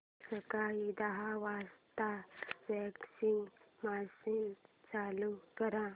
सकाळी दहा वाजता वॉशिंग मशीन चालू कर